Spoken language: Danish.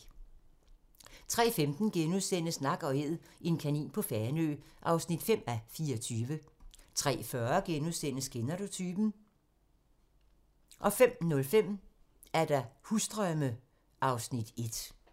03:15: Nak & Æd - en kanin på Fanø (5:24)* 03:40: Kender du typen? * 05:05: Husdrømme (Afs. 1)